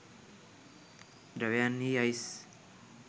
ධ්‍රැවයන් හි අයිස්